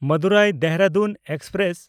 Madurai Dehradun express